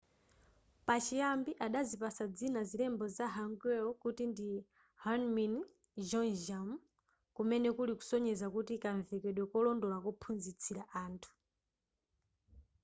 pachiyambi adazipatsa dzina zilembo za hangeul kuti ndi hunmin jeongeum kumene kuli kusonyeza kuti kamvekedwe kolondola kophunzitsira anthu